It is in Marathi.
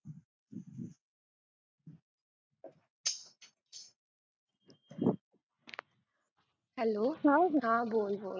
hello हा बोल बोल